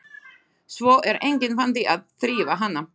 Svo er enginn vandi að þrífa hana.